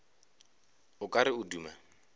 o ka re o duma